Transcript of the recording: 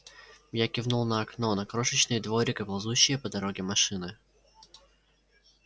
я кивнул на окно на крошечный дворик и ползущие по дороге машины